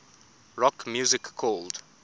rock music called